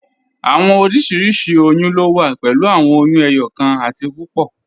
Awọn oriṣiríṣi oyún lo wà pẹ̀lú awọn oyún ẹyọkan àti púpọ́.